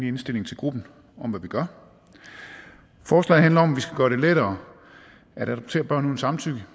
indstilling til gruppen om hvad vi gør forslaget handler om at vi skal gøre det lettere at adoptere børn uden samtykke